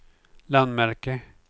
landmärke